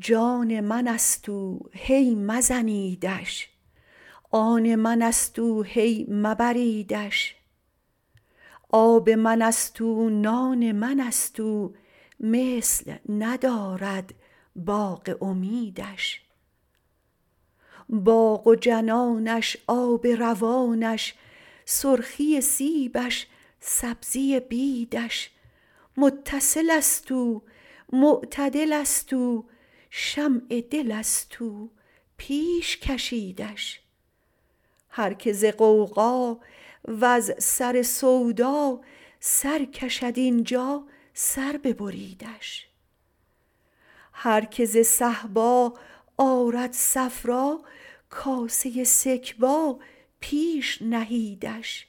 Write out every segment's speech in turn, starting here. جان من ست او هی مزنیدش آن من ست او هی مبریدش آب من ست او نان من ست او مثل ندارد باغ امیدش باغ و جنانش آب روانش سرخی سیبش سبزی بیدش متصل ست او معتدل ست او شمع دل ست او پیش کشیدش هر که ز غوغا وز سر سودا سر کشد این جا سر ببریدش هر که ز صهبا آرد صفرا کاسه سکبا پیش نهیدش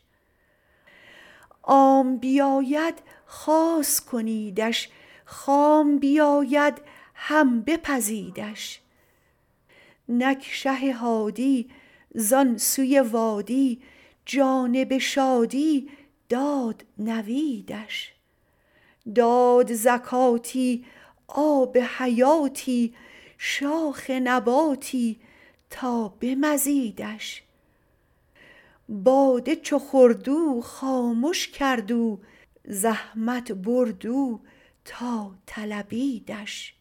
عام بیاید خاص کنیدش خام بیاید هم بپزیدش نک شه هادی زان سوی وادی جانب شادی داد نویدش داد زکاتی آب حیاتی شاخ نباتی تا به مزیدش باده چو خورد او خامش کرد او زحمت برد او تا طلبیدش